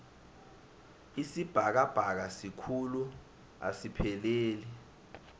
isibhakabhaka sikhulu asipheleli